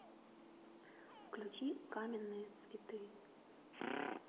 включи каменные цветы